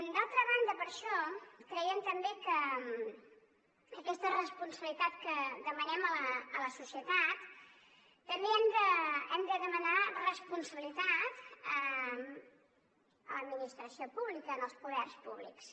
d’altra banda per això creiem també que aquesta responsabilitat que demanem a la societat també hem de demanar responsabilitat a l’administració pública als poders públics